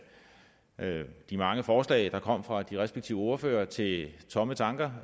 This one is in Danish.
de mange forslag der kom fra de respektive ordførere til tomme tanker